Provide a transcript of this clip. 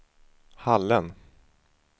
Hallen